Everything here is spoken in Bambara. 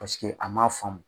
Paseke a m'a faamu.